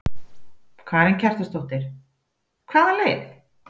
Karen Kjartansdóttir: Hvaða leið?